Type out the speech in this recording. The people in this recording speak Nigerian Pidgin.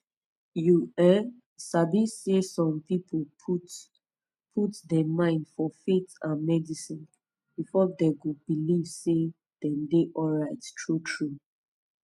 you um sabi say some people put put dem mind for faith and medicine before dem go belif say dem dey alright true true